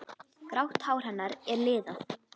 Grátt hár hennar er liðað.